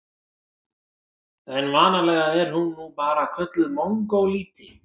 En vanalega er hún nú bara kölluð mongólíti.